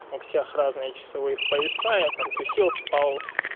у всех разные часовые пояса я там тусил спал